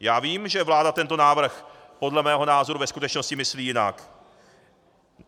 Já vím, že vláda tento návrh podle mého názoru ve skutečnosti myslí jinak.